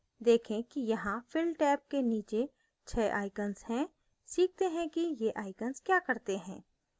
देखें कि यहाँ fill टैब के नीचे 6 icons हैं सीखते हैं कि ये icons क्या करते हैं